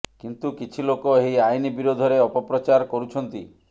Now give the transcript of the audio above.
କିନ୍ତୁ କିଛି ଲୋକ ଏହି ଆଇନ୍ ବିରୋଧରେ ଅପପ୍ରଚାର କରୁଛନ୍ତି